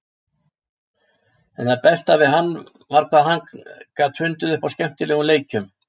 En það besta við hann var hvað hann gat fundið upp á skemmtilegum leikjum.